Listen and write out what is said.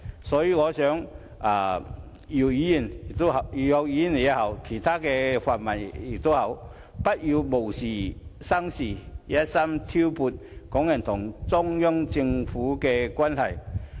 所以，我希望姚議員或其他泛民議員不要無事生事，存心挑撥港人與中央政府之間的關係。